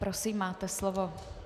Prosím, máte slovo.